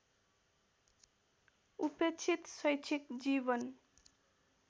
उपेक्षित शैक्षिक जीवन